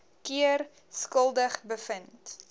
keer skuldig bevind